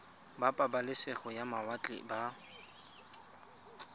ba pabalesego ya mawatle ba